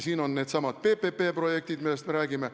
On needsamad PPP-projektid, millest me räägime.